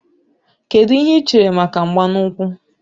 Kedụ ihe i chere maka mgba n'úkwù